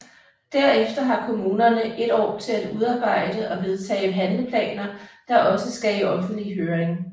Derefter har kommunerne et år til udarbejde og vedtage handleplaner der også skal i offentlig høring